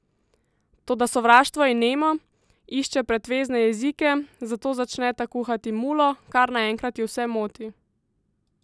Toda sovraštvo je nemo, išče pretvezne jezike, zato začneta kuhati mulo, kar naenkrat ju vse moti!